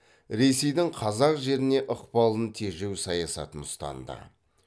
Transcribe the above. ресейдің қазақ жеріне ықпалын тежеу саясатын ұстанды